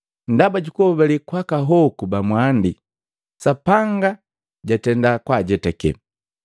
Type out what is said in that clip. Ndaba juku hobale kwaka hoku ba mwandi, Sapanga jatenda kwaajetake.